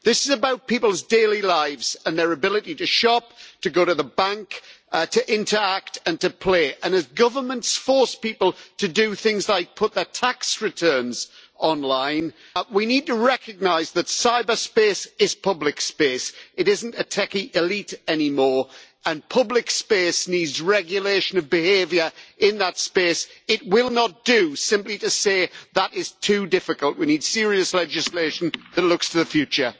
This is about people's daily lives and their ability to shop, to go to the bank, to interact and to play, and if governments force people to do things like put their tax returns on line, we need to recognise that cyberspace is public space it isn't a techie elite any more and public space needs regulation of behaviour in that space. It will not do simply to say that is too difficult we need serious legislation that looks to the future.